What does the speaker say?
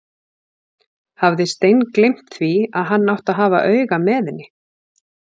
Hafði steingleymt því að hann átti að hafa auga með henni!